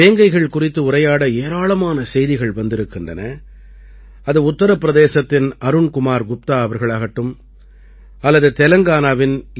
வேங்கைகள் குறித்து உரையாட ஏராளமான செய்திகள் வந்திருக்கின்றன அது உத்தரப் பிரதேசத்தின் அருண் குமார் குப்தா அவர்களாகட்டும் அல்லது தெலங்கானாவின் என்